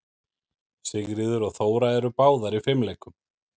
Sigríður og Þóra eru báðar í fimleikum.